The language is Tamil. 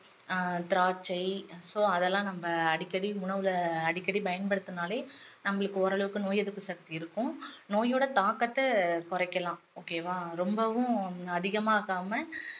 ஆஹ் திராட்சை so அதெல்லாம் நம்ம அடிக்கடி உணவுல அடிக்கடி பயன்படுத்தினாலே நம்மளுக்கு ஓரளவுக்கு நோய் எதிர்ப்பு சக்தி இருக்கும் நோயோட தாக்கத்தை குறைக்கலாம் okay வா ரொம்பவும் அதிகமாக்காம